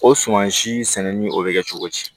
O suman si sɛnɛni o bɛ kɛ cogo di